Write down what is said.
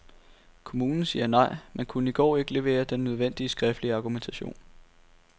Kommunen siger nej, men kunne i går ikke levere den nødvendige skriftlige argumentation.